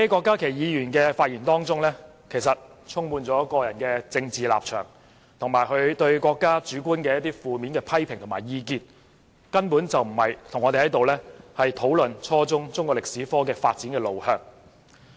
郭議員的發言充滿個人政治立場，以及他對國家主觀的負面批評及意見，根本不是與我們討論初中中史科的發展路向。